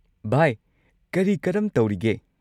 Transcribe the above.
ꯚꯥꯏ ꯀꯔꯤ-ꯀꯔꯝ ꯇꯧꯔꯤꯒꯦ?